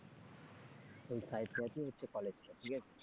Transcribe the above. ওই সাইটটাই তেই হচ্ছে কলেজটা,